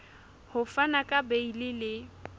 ho fana ka beile le